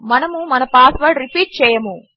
మనము మన password repeat చేయము